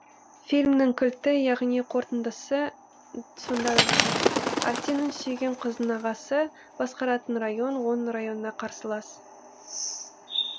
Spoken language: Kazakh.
фильмнің кілті яғни қорытындысы сонда да жатыр арсеннің сүйген қызының ағасы басқаратын район оның районына қарсылас